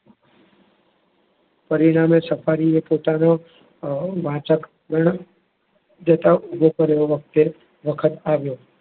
પરિણામે સફારીએ પોતાના વાંચગણ વખત આવ્યો.